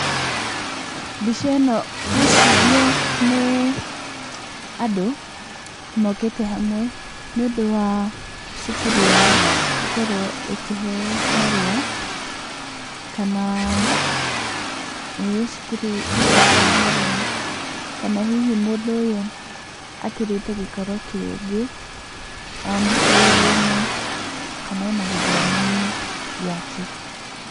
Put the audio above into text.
Mbica ĩno ngwĩciria nĩ andũ, mokĩte hamwe nĩ ũndũ wa cukuru ĩyo gũkorwo ĩkĩheyo marũa, ĩĩ cukuru ĩkĩheyo marũa, kana hihi mũndũ ũyũ akĩrĩte gĩkĩro kĩngĩ wĩra-inĩ kana ona gĩthomo-inĩ gĩake.